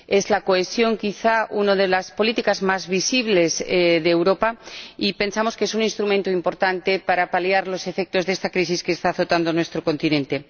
La cohesión es, quizás, una de las políticas más visibles de Europa y pensamos que es un instrumento importante para paliar los efectos de esta crisis que está azotando nuestro continente.